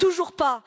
toujours pas